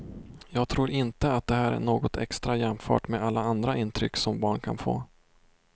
Jag tror inte att det här är något extra jämfört med alla andra intryck som barn kan få.